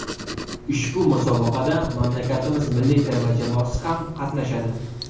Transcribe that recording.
Ushbu musobaqada mamlakatimiz milliy terma jamoasi ham qatnashadi.